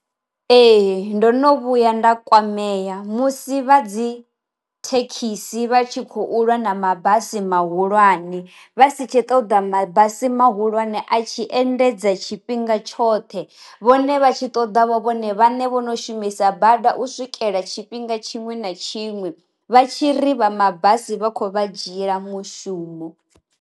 Ee ndo no vhuya nda kwamea musi vha dzi thekhisi vha tshi khou lwa na mabasi mahulwane vha si tshe ṱoḓa mabasi mahulwane a tshi endedza tshifhinga tshoṱhe vhone vha tshi ṱoḓa vho vhone vhane vho no shumisa bada u swikela tshifhinga tshiṅwe na tshiṅwe vha tshi ri vha mabasi vhakho vha dzhiela mushumo.